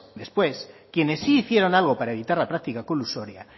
después quienes sí hicieron algo para evitar la práctica colusoria